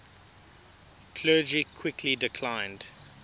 clergy quickly declined